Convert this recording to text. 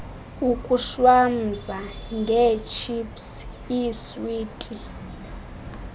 ukushwamza ngeetships iiswiti